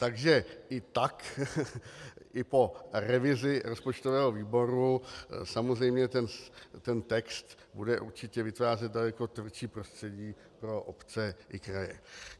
Takže i tak i po revizi rozpočtového výboru samozřejmě ten text bude určitě vytvářet daleko tvrdší prostředí pro obce i kraje.